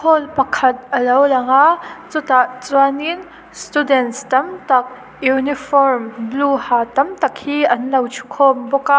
hall pakhat a lo lang aa chutah chuanin students tam tak uniform blue ha tam tak hi an lo thukhawm bawk a.